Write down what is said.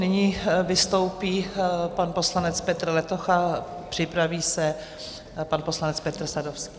Nyní vystoupí pan poslanec Petr Letocha a připraví se pan poslanec Petr Sadovský.